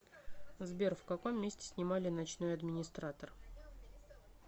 сбер в каком месте снимали ночной администратор